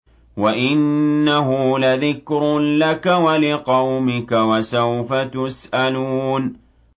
وَإِنَّهُ لَذِكْرٌ لَّكَ وَلِقَوْمِكَ ۖ وَسَوْفَ تُسْأَلُونَ